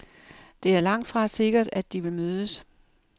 Det er langtfra sikkert, at de vil mødes.